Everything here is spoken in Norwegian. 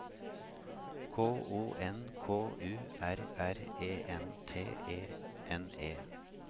K O N K U R R E N T E N E